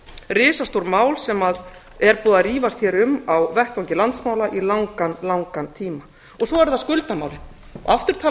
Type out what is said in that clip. risastór mál sem er búið að rífast hér um á vettvangi landsmanna í langan langan tíma svo eru það skuldamálin aftur talar